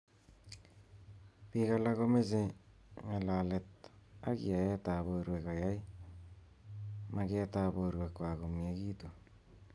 Bik alak komeche ng'alalet ak yaet ab borwek koyai maget ab borwek kwaak komyakitu.